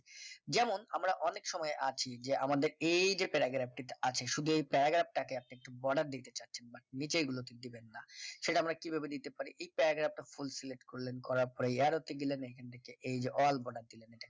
যেমন আমরা অনেক সময় আছি যে আমাদের এই যে paragraph টিতে আছে শুধু এই paragraph টাকে আপনি একটু border দিতে চাচ্ছেন but নিচের গুলোতে দিবেন না সেটা আমরা কিভাবে দিতে পারি এই paragraph টা full select করলেন করার পরে arrow তে গেলেন এখান থেকে এই যে all border দিলেন